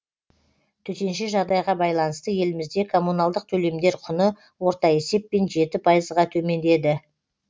төтенше жағдайға байланысты елімізде коммуналдық төлемдер құны орта есеппен жеті пайызға төмендеді